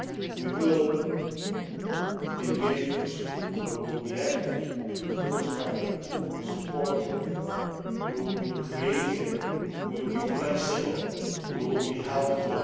we will engage with you, we will be active, we will be forthcoming, we will be supportive, we will be creative, we will be flexible, we will be helpful.